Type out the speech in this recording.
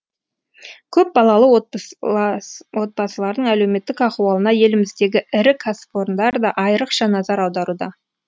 көпбалалы отбасылардың әлеуметтік ахуалына еліміздегі ірі кәсіпорындар да айрықша назар аударуда